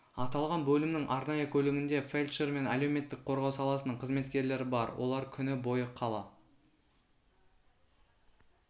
аталған бөлімнің арнайы көлігінде фельдшер мен әлеуметтік қорғау саласының қызметкерлері бар олар күні бойы қала